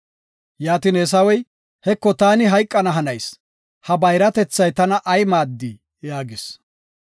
Yaatin Eesawey, “Heko, taani hayqana hanayis, ha bayratethay tana ay maaddii?” yaagis.